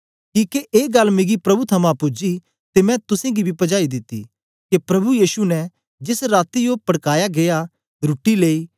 किके ए गल्ल मिगी प्रभु थमां पूजी ते मैं तुसेंगी बी पजाई दित्ती के प्रभु यीशु ने जेस राती ओ पड़काया गीया रुट्टी लेई